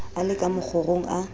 a le ka mokgorong a